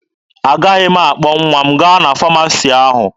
Agaghị m akpọ nwa m gaa na famasi ahụ.